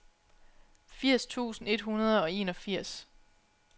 firs tusind et hundrede og enogfirs